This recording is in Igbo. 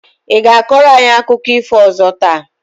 I ga-akọrọ anyị akụkọ ifo ọzọ taa?